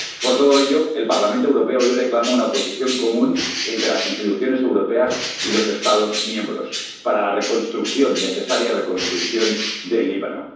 Por todo ello, el Parlamento Europeo hoy reclama una posición común entre las instituciones europeas y los Estados miembros para la reconstrucción, la necesaria reconstrucción del Líbano.